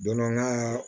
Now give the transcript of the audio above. Don dɔ n ka